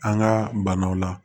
An ka banaw la